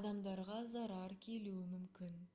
адамдарға зарар келуі мүмкін